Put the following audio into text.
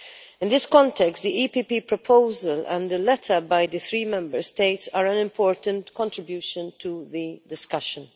In this context, the EPP proposal and a letter by the three Member States are an important contribution to the discussion.